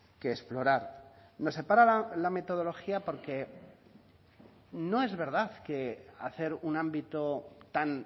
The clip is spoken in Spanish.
que explorar nos separa la metodología porque no es verdad que hacer un ámbito tan